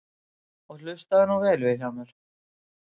Og hlustaðu nú vel Vilhjálmur.